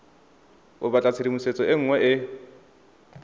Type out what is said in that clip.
o batla tshedimosetso e nngwe